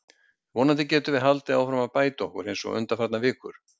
Vonandi getum við haldið áfram að bæta okkur eins og undanfarnar vikur.